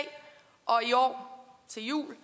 og i år til jul